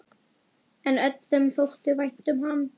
En öllum þótti vænt um hann.